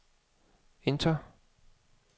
enter